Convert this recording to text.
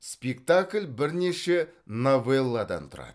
спектакль бірнеше новелладан тұрады